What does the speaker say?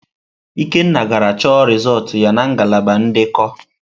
Ikenna gara chọ rịzọlt ya na ngalaba ndekọ.